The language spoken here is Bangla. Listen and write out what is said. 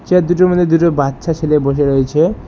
চেয়ারদুটির মধ্যে দুটো বাচ্চা ছেলে বসে রয়েছে।